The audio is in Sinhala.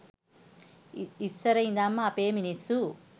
ඉස්සර ඉදන්ම අපේ මිනිස්සු